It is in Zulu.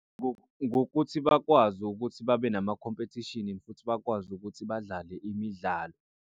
Ngokuthi bakwazi ukuthi babe nama khompethishini futhi bakwazi ukuthi badlale imidlalo.